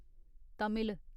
Tamil